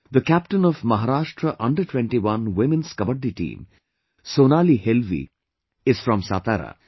The captain of Maharashtra Under21 Women's Kabaddi team, Sonali Helvi is from Satara